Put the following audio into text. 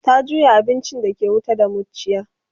ta juya abincin da ke wuta da muciya